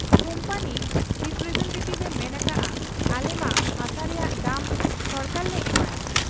Company representative ᱮ ᱢᱮᱱ ᱟᱠᱟᱜ ᱟ ᱟᱞᱮᱢᱟ ᱦᱟᱥᱟ ᱨᱮᱭᱟᱝ ᱫᱟᱢ ᱥᱚᱨᱠᱟᱨᱞᱮ ᱮᱢᱟᱭᱟ ᱾